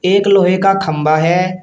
एक लोहे का खम्भा है।